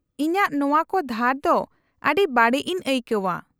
-ᱤᱧᱟᱹᱜ ᱱᱚᱶᱟ ᱠᱚ ᱫᱷᱟᱨ ᱫᱚ ᱟᱹᱰᱤ ᱵᱟᱲᱤᱡ ᱤᱧ ᱟᱹᱭᱠᱟᱹᱣᱼᱟ ᱾